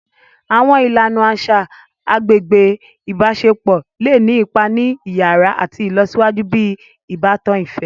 Awọn ìlànà aṣa agbègbè ibaṣepọ le ni ipá ni iyàrá àti ìlọsíwájú ti ìbátan ifẹ.